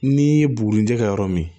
N'i ye buguni jɛ yɔrɔ min